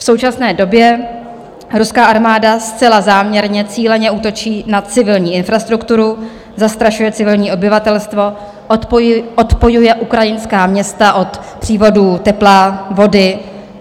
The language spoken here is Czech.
V současné době ruská armáda zcela záměrně cíleně útočí na civilní infrastrukturu, zastrašuje civilní obyvatelstvo, odpojuje ukrajinská města od přívodů tepla, vody.